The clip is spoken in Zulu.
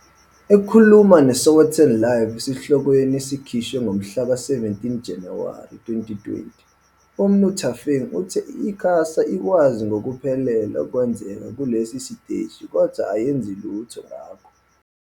Ekhuluma neSowetan LIVE esihlokweni esikhishwe ngomhlaka 17 Januwari 2020, uMnu Thafeng uthe i-ICASA ikwazi ngokuphelele okwenzeka kulesi siteshi kodwa ayenzi lutho ngakho.